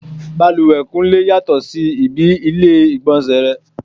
Bàlùwẹ̀ Kúnlé yàtọ̀ sí ibi ilé ìgbọ̀nsẹ̀ rẹ.